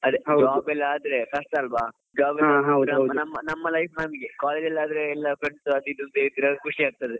Job ಎಲ್ಲ ಆದ್ರೆ ಕಷ್ಟ ಅಲ್ವ. job ಎಲ್ಲ ಆದ್ರೆ ನಮ್ಮ life ನಮಿಗೆ college ಅಲ್ಲಿ ಆದ್ರೆ ಎಲ್ಲ friends ಅದು ಇದು ಖುಷಿ ಆಗ್ತದೆ.